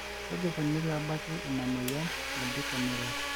kaja ikuni peebaki ena moyian naji conela